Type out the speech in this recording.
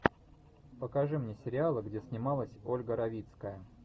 покажи мне сериалы где снималась ольга равицкая